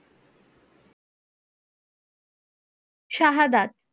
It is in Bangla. শাহাদাত